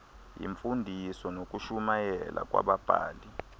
yimfundiso nokushumayela kwababhali